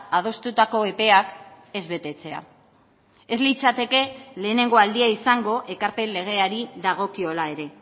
adostutako epeak ez betetzea ez litzateke lehenengo aldia izango ekarpen legeari dagokiola ere